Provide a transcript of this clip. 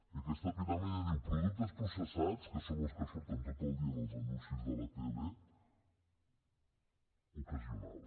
i aquesta piràmide diu productes processats que són els que surten tot el dia en els anuncis de la tele ocasional